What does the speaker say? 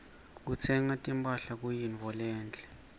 kutsenga timphahla kuyintfo lenhle